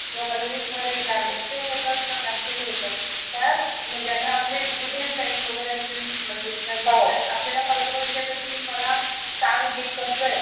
ज्या कॉलेज मध्ये ना lectures होतात, ना practicles होतात. कारण म्हणजे आता तुझे फ्रेंड्स वगैरे असतील अश्या कॉलेजेस ला आपल्याला call करुण विचारतात की आपल्याला सांग हे कसं आहे.